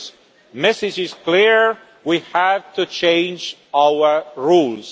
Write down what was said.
The message is clear we have to change our rules.